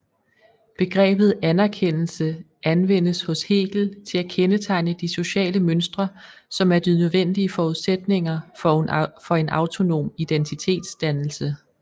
Begrebet anerkendelse anvendes hos Hegel til at kendetegne de sociale mønstre som er de nødvendige forudsætninger for en autonom identitetsdannelse